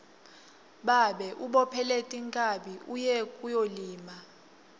babe ubophele tinkhabi uye kuyolima